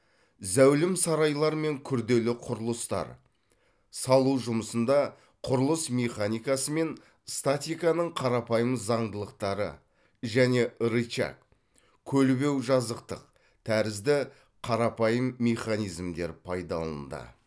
зәулім сарайлар мен күрделі құрылыстар салу жұмысында құрылыс механикасы мен статиканың қарапайым заңдылықтары және рычаг көлбеу жазықтық тәрізді қарапайым механизмдер пайдаланды